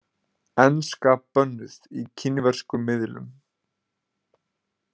Enska bönnuð í kínverskum miðlum